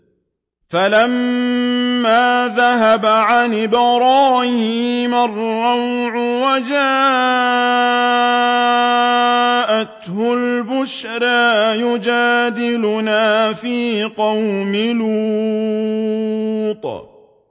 فَلَمَّا ذَهَبَ عَنْ إِبْرَاهِيمَ الرَّوْعُ وَجَاءَتْهُ الْبُشْرَىٰ يُجَادِلُنَا فِي قَوْمِ لُوطٍ